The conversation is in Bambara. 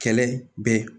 Kɛlɛ bɛ